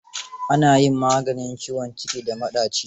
Ana yin maganin ciwon ciki da maɗaci.